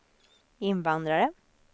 invandrare